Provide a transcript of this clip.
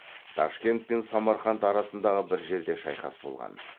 ташкент пен самарқанд арасындағы бір жерде шайқас болған